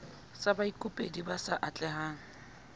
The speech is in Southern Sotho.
sa baikopedi ba sa atlehang